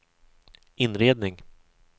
inredning